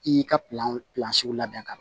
I y'i ka labɛn ka ɲa